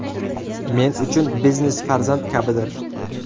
Men uchun biznes farzand kabidir.